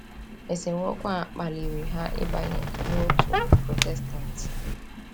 Esemokwu a kpaliri ha ịbanye n’òtù Protestant